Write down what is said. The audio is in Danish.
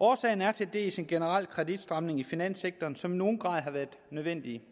årsagen er til dels en generel kreditstramning i finanssektoren som i nogen grad har været nødvendig